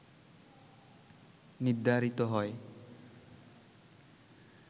নির্ধারিত হয়